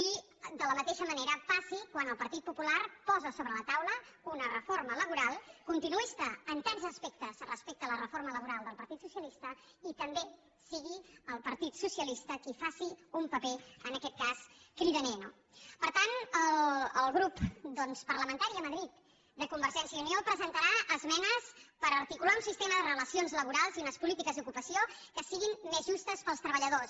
i de la mateixa manera passi quan el partit popular posa sobre la taula una reforma laboral continuista en tants aspectes respecte a la reforma laboral del partit socialista i també sigui el partit socialista qui faci un paper en aquest cas cridaner no per tant el grup parlamentari a madrid de convergència i unió presentarà esmenes per articular un sistema de relacions laborals i unes polítiques d’ocupació que siguin més justes per als treballadors